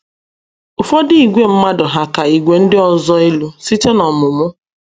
Ụfọdụ ìgwè mmadụ hà ka ìgwè ndị ọzọ elu site n’ọmụmụ?